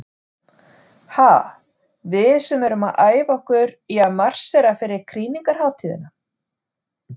Ha, við sem erum að æfa okkur í að marsera fyrir krýningarhátíðina.